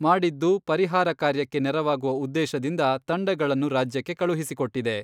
ಮಾಡಿದ್ದು, ಪರಿಹಾರ ಕಾರ್ಯಕ್ಕೆ ನೆರವಾಗುವ ಉದ್ದೇಶದಿಂದ ತಂಡಗಳನ್ನು ರಾಜ್ಯಕ್ಕೆ ಕಳುಹಿಸಿಕೊಟ್ಟಿದೆ.